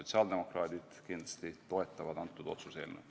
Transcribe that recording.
Sotsiaaldemokraadid kindlasti toetavad antud otsuse-eelnõu.